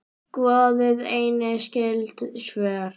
Skoðið einnig skyld svör